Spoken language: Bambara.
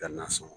Ka na sɔn